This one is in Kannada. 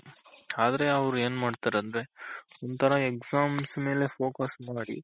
ಆದ್ರೆ ಅವ್ರ್ ಏನ್ ಮಾಡ್ತಾರಂದ್ರೆ ಒಂತರ Exams ಮೇಲೆ focus ಮಾಡಿ